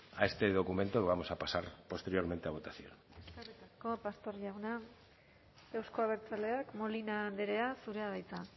a este documento que vamos a pasar posteriormente a votación eskerrik asko pastor jauna euzko abertzaleak molina andrea zurea da hitza